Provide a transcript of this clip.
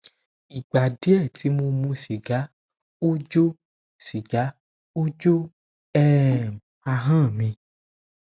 igba die ti mo mu siga o jo siga o jo um ahan mi